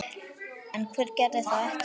En hver gerði það ekki?